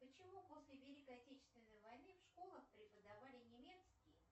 почему после великой отечественной войны в школах преподавали немецкий